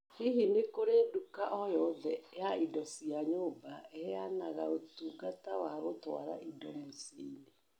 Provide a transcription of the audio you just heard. Hihi nĩ kũrĩ nduka o nyoothe ya indo cia nyumba iheanaga ũtungata wa gũtwara indo mĩciĩ-ini